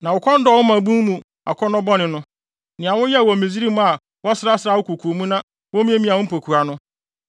Na wo kɔn dɔɔ wo mmabun mu akɔnnɔ bɔne no, nea woyɛɛ wɔ Misraim a wɔsrasraa wo koko mu na womiamiaa wo mpokua no.